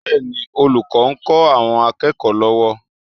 Bẹ́ẹ̀ni, olùkọ́ ń kọ́ àwọn akẹ́kọ̀ọ́ lọ́wọ́